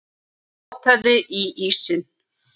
Hún potaði í ísinn.